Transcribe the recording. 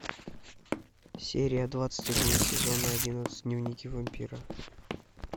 серия двадцать один сезона одиннадцать дневники вампира